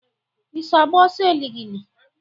I so agba ọsọ eligili?